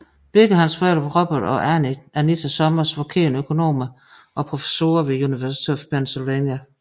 Begge hans forældre Robert og Anita Summers var kendte økonomer og professorer ved University of Pennsylvania